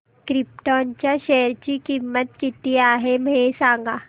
krypton च्या share ची किंमत किती आहे हे सांगा